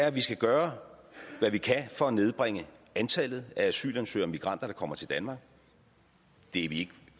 at vi skal gøre hvad vi kan for at nedbringe antallet af asylansøgere og migranter der kommer til danmark det er vi ikke